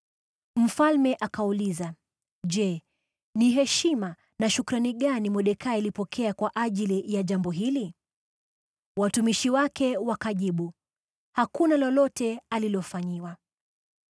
Mfalme akauliza, “Je, ni heshima na shukrani gani Mordekai alipokea kwa ajili ya jambo hili?” Watumishi wake wakajibu, “Hakuna lolote alilofanyiwa.”